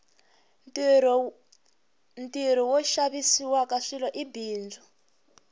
ntirho wo xaviwaka swilo i bindzu